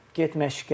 Get məşqə.